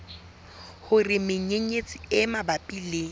hore menyenyetsi e mabapi le